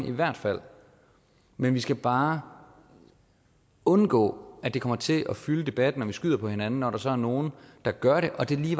i hvert fald men vi skal bare undgå at det kommer til at fylde debatten og at vi skyder på hinanden når der så er nogle der gør det og det lige